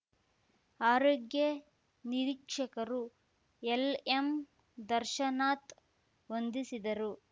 ಆರೋಗ್ಯ ನಿರೀಕ್ಷಕರು ಎಲ್‌ಎಂ ದರ್ಶನಾಥ್ ವಂದಿಸಿದರು